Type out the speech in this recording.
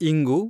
ಇಂಗು